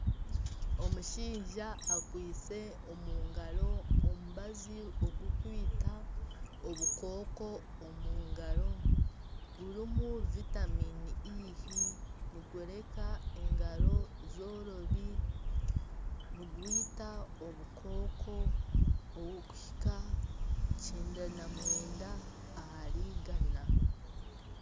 Omushaija akwaitse omungaro omubazi ogukwita obukooko omungaro gurimu vitamini nigureka engaro zorobi nigwita obukooko obukuhika kyenda na mwenda ahari igana.